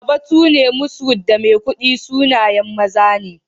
Babatune, Moshood, da Maikudi sunayen maza ne.